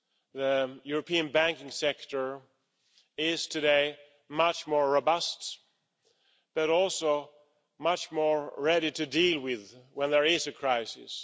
The European banking sector is today much more robust but also much more ready to act when there is a crisis.